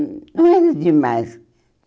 hum Não era demais.